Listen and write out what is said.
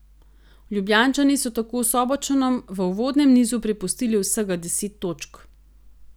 Ljubljančani so tako Sobočanom v uvodnem nizu prepustili vsega deset točk.